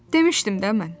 Demişdim də mən.